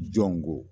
Jɔn ko